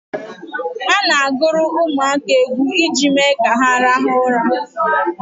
A na-agụrụ ụmụaka egwu iji mee ka ha rahụ ụra